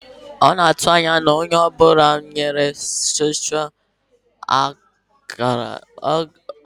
A na-atụ anya na onye ọ bụla na senchuri a ga-enwerịrị otu ákàrà soshal midia